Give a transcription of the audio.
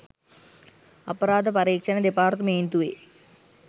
අපරාධ පරීක්ෂණ දෙපාර්තමේන්තුවේ